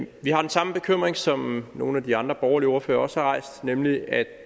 vi har den samme bekymring som nogle af de andre borgerlige ordførere også har rejst nemlig at